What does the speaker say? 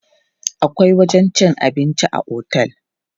Akwai wajen cin abinci a otel.